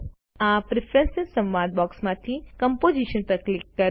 આ પ્રેફરન્સ સંવાદ બોક્સમાંથી કમ્પોઝિશન પર ક્લિક કરો